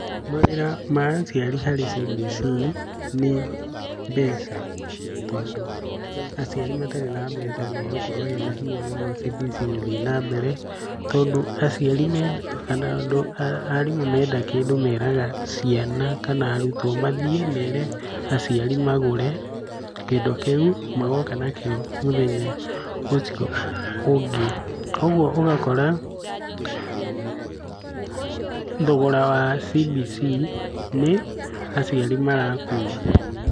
Mawĩra ma aciari harĩ CBC nĩ mbeca, tondũ aciari matarĩ na mbeca nĩ hegũkorwo hena hinya mũno CBC gũthiĩ na mbere. Tondũ aciari menda, arimũ menda kĩndũ meraga ciana kana arutwo mathiĩ mere aciari magũre kindũ kĩu magoka nakĩo mũthenya ũcio ũngĩ. Koguo ũgakora thogora wa CBC nĩ aciari marakua.